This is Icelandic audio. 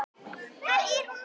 Hvar er hún núna?